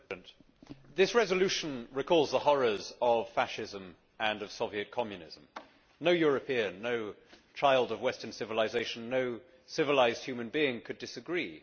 Mr President, this resolution recalls the horrors of Fascism and of Soviet Communism. No European, no child of Western civilisation, no civilised human being could disagree.